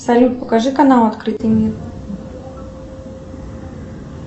салют покажи канал открытый мир